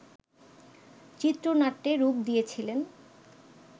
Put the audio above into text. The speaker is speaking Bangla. চিত্রনাট্যে রূপ দিয়েছিলেন